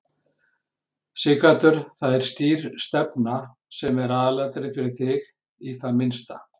Sighvatur: Það er skýr stefna sem er aðalatriðið fyrir þig, í það minnsta?